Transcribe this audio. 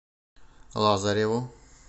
лазареву